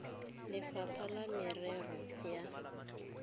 go lefapha la merero ya